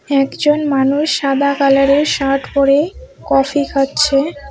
একজন মানুষ সাদা কালারের শার্ট পরে কফি খাচ্ছে।